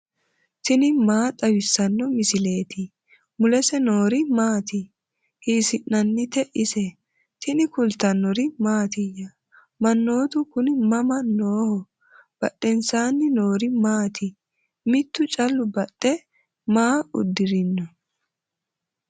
tini maa xawissanno misileeti ? mulese noori maati ? hiissinannite ise ? tini kultannori mattiya? Mannoottu kunni mama nooho? badheennsaanni noori maatti? Mittu callu baxe maa udirinno?